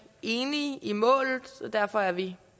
enige i målet så derfor er vi